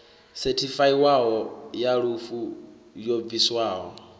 sethifaiwaho ya lufu yo bviswaho